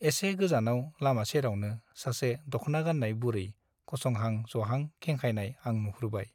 एसे गोजानाव लामा सेरावनो सासे दख्ना गान्नाय बुरै गसंहां जहां खेंखायनाय आं नुहुरबाय ।